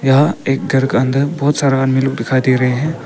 यहां एक घर के अंदर बहुत सारा आदमी लोग दिखाई दे रहे हैं।